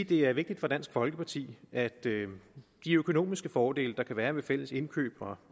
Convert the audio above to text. det er vigtigt for dansk folkeparti at de økonomiske fordele der kan være ved fælles indkøb